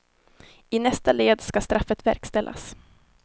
I nästa led ska straffet verkställas.